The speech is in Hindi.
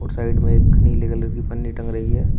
साइड मे एक नीले कलर की पन्नी टंग रही है।